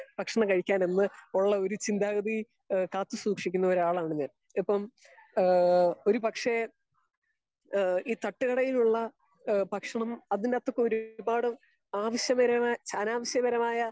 Speaker 2 ഭക്ഷണം കഴിക്കാൻ എന്ന് ഉള്ള ഒരു ചിന്താഗതി കാത്ത് സൂക്ഷിക്കുന്ന ഒരാളാണ് ഞാൻ. ഇപ്പം ഹേ ഒരു പക്ഷെ ഹേ ഈ തട്ടുകടയിലുള്ള ഭക്ഷണം അതിന്റെ അകത്തൊക്കെ ഒരുപാട് ആവിഷ്പരമായ അനാവശ്യപരമായ